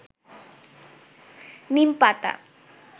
নীম পাতা